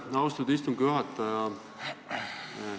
Aitäh, austatud istungi juhataja!